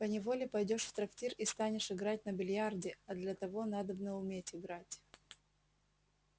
поневоле пойдёшь в трактир и станешь играть на биллиарде а для того надобно уметь играть